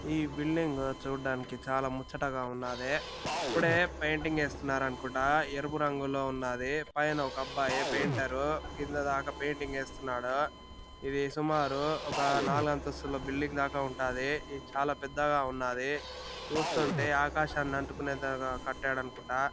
ఈ బిల్డింగ్ చూడ్డానికి చాలా ముచ్చటగా ఉన్నాది . ఇప్పుడే పెయింటింగ్ ఏస్తున్నారనుకుంటా . ఎరుపు రంగులో ఉన్నాది పైన ఒక అబ్బాయి పైంటరు కింద దాకా పెయింటింగ్ ఏస్తున్నాడు ఇది సుమారు ఒక నాలుగంతస్తులు బిల్డింగ్ దాకా ఉంటాది. ఇది చాలా పెద్దగా ఉన్నాది. చూస్తుంటే ఆకాశాన్ని అంటుకునేంతగా కట్టాడనుకుంటా.